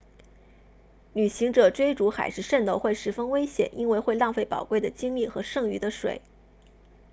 旅行者追逐海市蜃楼会十分危险因为会浪费宝贵的精力和剩余的水